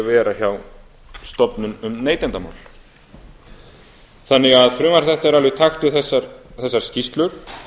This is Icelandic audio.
vera hjá stofnun um neytendamál frumvarp þetta er því alveg í takti við þegar skýrslur